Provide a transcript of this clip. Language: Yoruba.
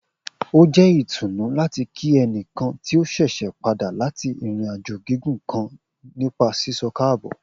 O jẹ itunu lati kí ẹnikan ti o ṣẹṣẹ pada lati irin-ajo gigun kan nipa sisọ kaabo